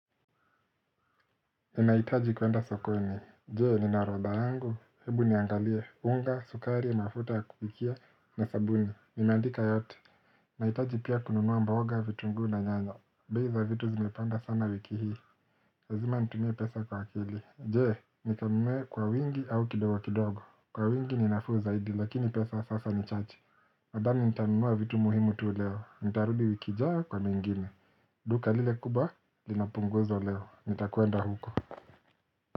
Ninaitaji kwenda sokoni, je nina orodha yangu? Hebu niangalie, unga, sukari, mafuta ya kupikia na sabuni. Nimaandika yote, naitaji pia kununua mboga, vitungu u na nyanya. Bei za vitu zimepanda sana wiki hii, lazima nitumie pesa kwa akili. Je, nitumie kwa wingi au kidogo kidogo? Kwa wingi ninafuu zaidi lakini pesa sasa nichache Nadhani nitanunua vitu muhimu tu leo, nitarudi wiku ijayo kwa mingine duka lile kubwa, linapunguzo leo, nitakwenda huko.